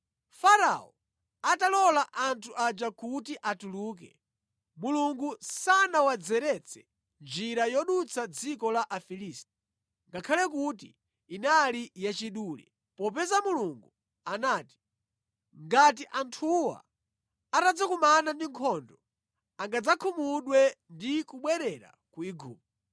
Farao atalola anthu aja kuti atuluke, Mulungu sanawadzeretse njira yodutsa dziko la Afilisti, ngakhale kuti inali yachidule popeza Mulungu anati, “Ngati anthuwa atadzakumana ndi nkhondo angadzakhumudwe ndi kubwerera ku Igupto.”